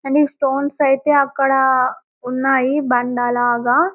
and ఈ stones అయితే అక్కడా ఉన్నాయి బండ లాగా --